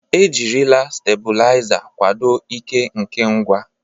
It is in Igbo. Ejirila stebuliza kwado ike nke ngwa.